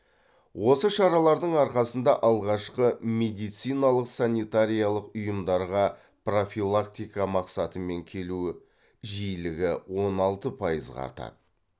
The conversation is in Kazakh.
осы шаралардың арқасында алғашқы медициналық санитариялық ұйымдарға профилактика мақсатымен келуі жиілігі он алты пайызға артады